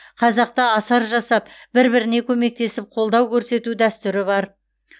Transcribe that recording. қазақта асар жасап бір біріне көмектесіп қолдау көрсету дәстүрі бар